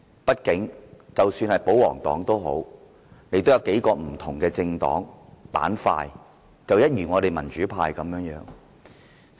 畢竟，即使保皇黨也有數個不同的政黨板塊，民主派亦然。